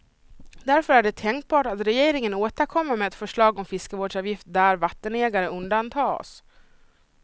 Därför är det tänkbart att regeringen återkommer med ett förslag om fiskevårdsavgift där vattenägare undantas.